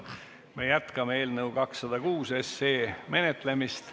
Me jätkame eelnõu 206 menetlemist.